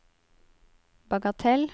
bagatell